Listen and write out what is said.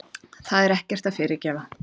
Það er ekkert að fyrirgefa.